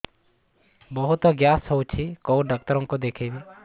ବହୁତ ଗ୍ୟାସ ହଉଛି କୋଉ ଡକ୍ଟର କୁ ଦେଖେଇବି